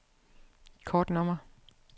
kortnummer